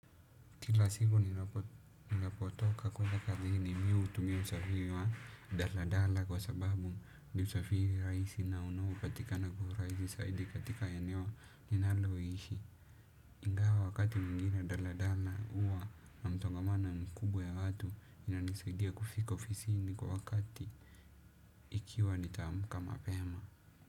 Kila siku ninapotoka kuenda kazini mimi hutumia usafiri wa Dala Dala kwa sababu ni usafiri rahisi na unaopatikana kwa urahisi zaidi katika eneo ninaloishi. Ingawa wakati mwingine Dala Dala huwa na msongamano mikubwa ya watu inanisaidia kufika ofisini kwa wakati ikiwa nitaamka mapema.